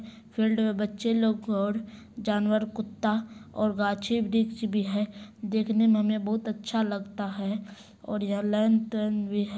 field में बच्चे लोग और जानवरकुत्ता और गाछीवृक्ष भी है देखने में हमे बहुत अच्छा लगता है और यहां लेन-तेन भी ह--